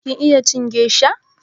Kin iya cin gesha?